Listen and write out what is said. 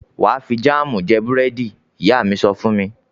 "Wà á fi jáámù jẹ búrẹ́dì r!" Ìyá mi sọ fún mi.